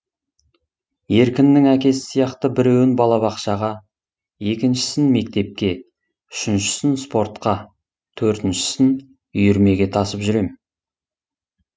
еркіннің әкесі сияқты біреуін балабақшаға екіншісін мектепке үшіншісін спортқа төртіншісін үйірмеге тасып жүрем